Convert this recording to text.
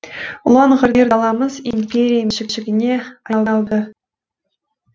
ұлан ғайыр даламыз империя меншігіне айналды